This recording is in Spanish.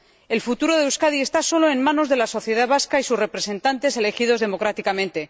El futuro de Euskadi está solo en manos de la sociedad vasca y sus representantes elegidos democráticamente.